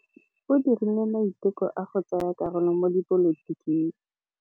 O dirile maitekô a go tsaya karolo mo dipolotiking.